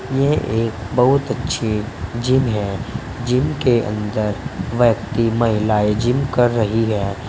यह एक बहुत अच्छी जिम है जिम के अंदर व्यक्ति महिलाएं जिम कर रही है।